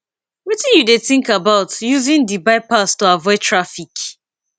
wetin you dey think about using di bypass to avoid traffic